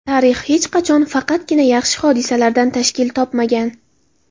Tarix hech qachon faqatgina yaxshi hodisalardan tashkil topmagan.